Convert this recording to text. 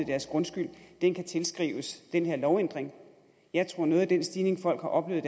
deres grundskyld kan kan tilskrives den her lovændring jeg tror at noget af den stigning folk har oplevet